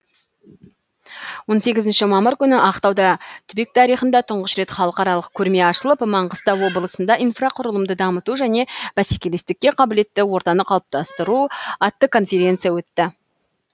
он сегізінші мамыр күні ақтауда түбек тарихында тұңғыш рет халықаралық көрме ашылып маңғыстау облысында инфрақұрылымды дамыту және бәсекелестікке қабілетті ортаны қалыптастыру атты конференция өтті